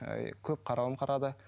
ііі көп қаралым қарады